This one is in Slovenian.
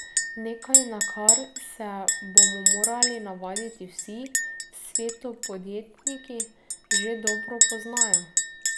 Nekaj, na kar se bomo morali navaditi vsi, v svetu podjetniki že dobro poznajo.